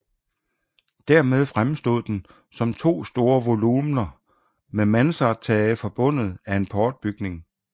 Dermed fremstod den som to store volumener med mansardtage forbundet af en portbygning